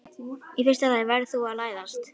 Í fyrsta lagi verður þú að læðast.